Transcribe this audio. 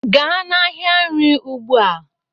gaa n'ahịa nri ugbua